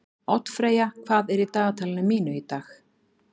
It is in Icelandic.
Oddfreyja, hvað er í dagatalinu mínu í dag?